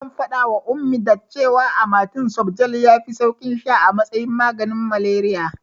Zan faɗawa Ummi that cewa amatem softgel yafi saukin sha a matsayin maganin malariya.